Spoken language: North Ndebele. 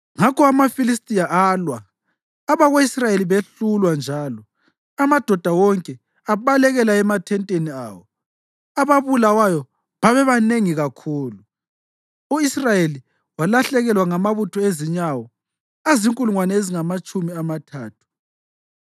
Ngakho amaFilistiya alwa, abako-Israyeli behlulwa njalo amadoda wonke abalekela emathenteni awo. Ababulawayo babebanengi kakhulu; u-Israyeli walahlekelwa ngamabutho ezinyawo azinkulungwane ezingamatshumi amathathu.